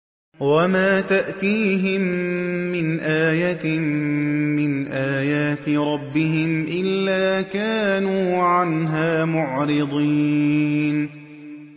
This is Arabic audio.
وَمَا تَأْتِيهِم مِّنْ آيَةٍ مِّنْ آيَاتِ رَبِّهِمْ إِلَّا كَانُوا عَنْهَا مُعْرِضِينَ